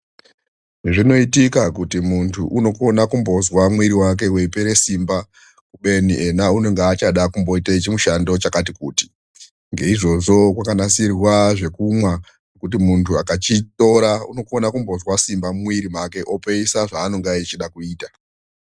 Zvinoitika kuti muntu unogona kumbozwa mwiri wake weipere simba kubeni ena unenge achada kumboite chimushando chakati kuti, ngeizvozvo kwakanasirwa zvekumwa kuti muntu akachitora unogona kumbozwa simba mumwiri make opeisa zvaanenge echida kuita.